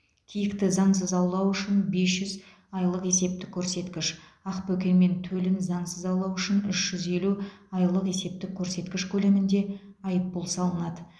киікті заңсыз аулау үшін бес жүз айлық есептік көрсеткіш ақбөкен мен төлін заңсыз аулау үшін үш жүз елу айлық есептік көрсеткіш көлемінде айыппұл салынады